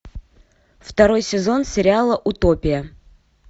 второй сезон сериала утопия